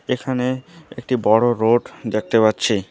এখানে একটি বড় রোড দেখতে পাচ্ছি।